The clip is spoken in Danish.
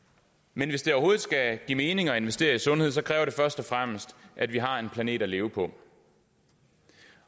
men hvis det overhovedet skal give mening at investere i sundhed kræver det først og fremmest at vi har en planet at leve på